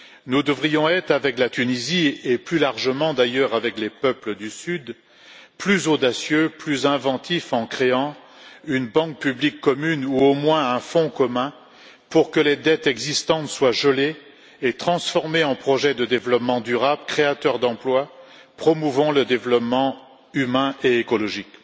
Nous devrions être avec la Tunisie et plus largement d'ailleurs avec les peuples du Sud plus audacieux, plus inventifs, en créant une banque publique commune ou, au moins, un fonds commun pour que les dettes existantes soient gelées et transformées en projet de développement durable, créateur d'emplois, promouvant le développement humain et écologique.